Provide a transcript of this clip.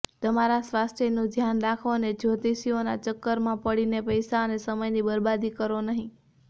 તમારા સ્વાસ્થ્યનું ધ્યાન રાખો અને જ્યોતિષીઓનાં ચક્કરમાં પડીને પૈસા અને સમયની બરબાદી કરો નહીં